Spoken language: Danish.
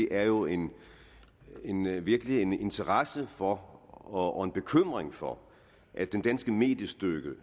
er jo en virkelig interesse for og en bekymring for at den danske mediestøtte